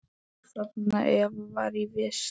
Þarna Eva var í vist.